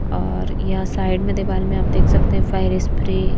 और या साइड में दीवाल में आप देख सकते हैं फायर स्प्रे। --